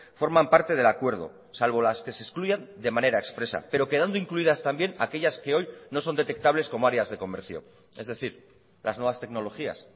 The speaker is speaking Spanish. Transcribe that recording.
forman parte del acuerdo salvo las que se excluyan de manera expresa pero quedando incluidas también aquellas que hoy no son detectables como áreas de comercio es decir las nuevas tecnologías